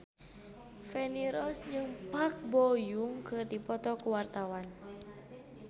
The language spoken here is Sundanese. Feni Rose jeung Park Bo Yung keur dipoto ku wartawan